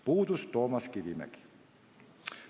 Puudus Toomas Kivimägi.